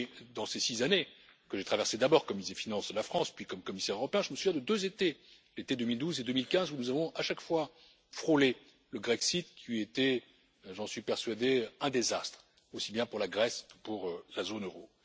Durant ces six années, que j'ai traversées d'abord comme ministre des finances de la France, puis comme commissaire européen, je me souviens de deux étés, ceux de 2012 et 2015, où nous avons à chaque fois frôlé le Grexit qui eût été j'en suis persuadé un désastre, aussi bien pour la Grèce que pour la zone euro.